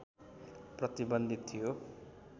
प्रतिबन्धित थियो